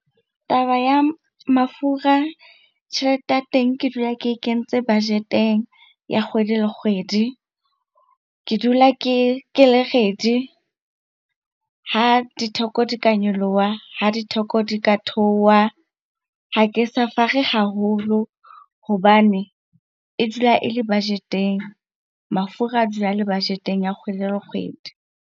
Taba ya mafura, tjhelete ya teng ke dula ke e kentse budget-eng ya kgwedi le kgwedi. Ke dula ke le ready ha ditheko di ka nyolowa, ha ditheko di ka theowa. Ha ke suffer-re haholo hobane e dula e le budget eng. Mafura a dula a le budget-eng kgwedi le kgwedi.